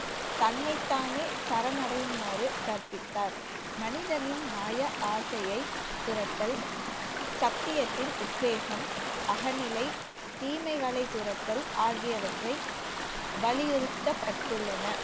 தன்னைத்தானே சரணடையுமாறு கற்பித்தார். மனிதனின் மாய ஆசையை துரத்தல் சத்தியத்தின் உத்வேகம் அகநிலை தீமைகளை துரத்தல் ஆகியவற்றை வலியுறுத்தப்பட்டுள்ளன